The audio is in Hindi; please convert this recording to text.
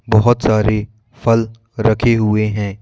बहोत सारी फल रखे हुए हैं।